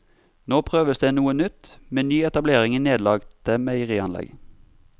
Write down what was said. Nå prøves det noe nytt med ny etablering i nedlagte meierianlegg.